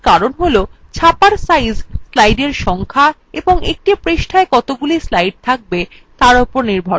এর কারণ হল ছাপার সাইজ slides সংখ্যা এবং একটি পৃষ্ঠায় কতগুলি slides থাকবে তার উপর নির্ভর করে